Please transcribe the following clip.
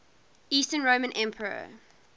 eastern roman emperor